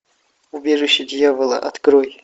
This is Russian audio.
убежище дьявола открой